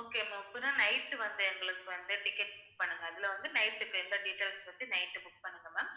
okay ma'am இப்பதான் night வந்து எங்களுக்கு வந்து ticket book பண்ணுங்க. அதில வந்து night இப்ப எந்த details வச்சு night book பண்ணுங்க ma'am